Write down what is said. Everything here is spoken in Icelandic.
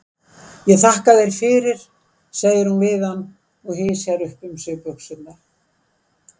Ég þakka þér fyrir, segir hún við hann og hysjar upp um sig buxurnar.